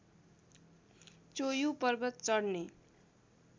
चोयु पर्वत चढ्ने